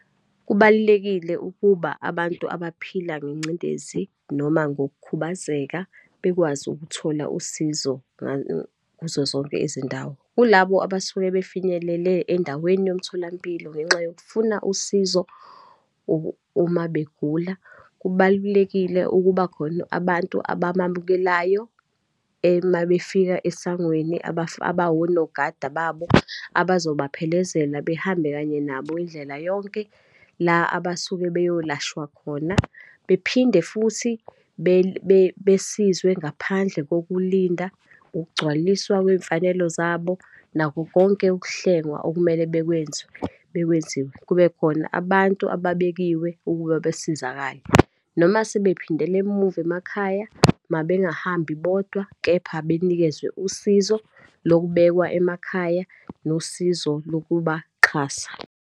Kubalulekile ukuba abantu abaphila ngengcindezi, noma ngokukhubazeka bekwazi ukuthola usizo kuzo zonke izindawo. Kulabo abasuke befinyelele endaweni yomtholampilo ngenxa yokufuna usizo uma begula, kubalulekile ukuba khona abantu abamamukelayo uma befika esangweni, abawonogada babo, abazobaphelezela, behambe kanye nabo indlela yonke la abasuke beyolashwa khona. Bephinde futhi besizwe ngaphandle kokulinda, ukugcwaliswa kweyimfanelo zabo, nakho konke ukuhlengwa okumele bekwenzwe, bekwenziwe. Kube khona abantu ababekiwe ukuba besizakale. Noma sebephindela emuva emakhaya, mabengahambi bodwa kepha benikezwe usizo lokubekwa emakhaya, nosizo lokubaxhasa.